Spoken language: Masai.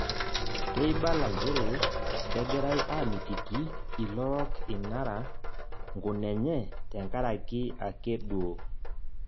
Keibala njere kegirai amitiki ilorok inara nkunenye tenkaraki ake duo